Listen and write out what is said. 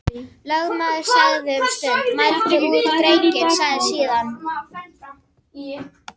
Lögmaður þagði um stund, mældi út drenginn, sagði síðan: